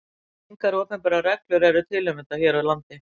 Engar opinberar reglur eru til um þetta hér á landi.